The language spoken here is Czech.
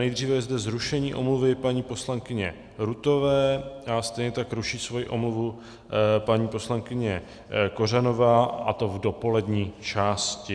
Nejdříve je zde zrušení omluvy paní poslankyně Rutové a stejně tak ruší svoji omluvu paní poslankyně Kořanová, a to v dopolední části.